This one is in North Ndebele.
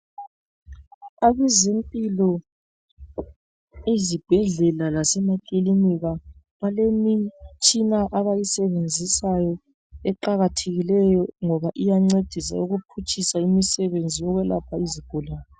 Abezempilo ezibhedlela lasemakilinika balemitshina bayisebenzisayo eqakathekileyo ngoba iyancedisa ukuphutshisa imisebenzi yokwelapha izigulane.